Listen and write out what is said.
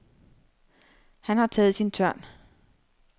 Han har taget sin tørn.